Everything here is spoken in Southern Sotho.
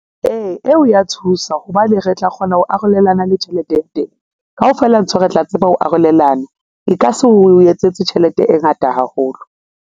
Ee, eo ya thusa hobane re tla kgona ho arolelana le tjhelete ya teng. Kaofela ntho re tla tseba ho arolelana. E ka se o etsetse tjhelete e ngata haholo.